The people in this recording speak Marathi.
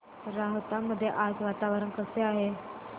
राहता मध्ये आज वातावरण कसे आहे